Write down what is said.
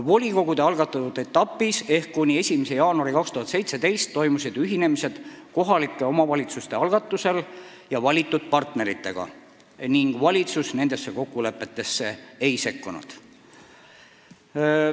Volikogude algatatud etapis ehk kuni 1. jaanuarini 2017 toimusid ühinemised kohalike omavalitsuste algatusel ja valitud partneritega ning valitsus nendesse kokkulepetesse ei sekkunud.